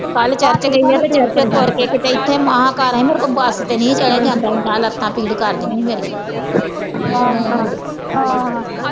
ਕਲ ਚਰਚ ਗਈ ਹਾਂ ਤੇ ਚਰਚੋ ਤੁਰ ਕੇ ਕਿਤੇ ਇੱਥੇ ਮਹਾ ਘਰ ਆਈ ਮੇਰੇ ਕੋ ਬਸ ਤੇ ਨਹੀਂ ਹੀ ਚੜਿਆ ਜਾਂਦਾ ਹੀ ਕਲ ਆ ਲੱਤਾਂ ਭੀੜ ਕਰਦੀਆਂ ਈ ਮੇਰੀਆਂ